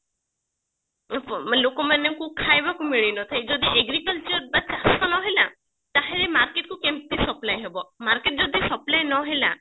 ମାନେ ଲୋକ ମାନଙ୍କୁ ଖାଇବାକୁ ମିଳିନଥାଏ ଯଦି agriculture ବା ଚାଷ ନହେଲା ତାହେଲେ market କୁ କେମତି supply ହେବ market ଯଦି supply ନହେଲା